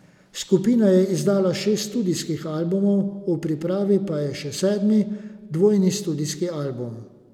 Skupina je izdala šest studijskih albumov, v pripravi pa je še sedmi, dvojni studijski album.